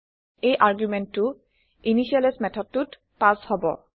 এই আৰগুমেণ্টটো initializeইনিচিয়েলাইজ মেথডটোত পাছ হব